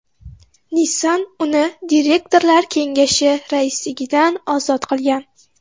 Nissan uni direktorlar kengashi raisligidan ozod qilgan .